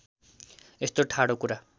यस्तो ठाडो कुरा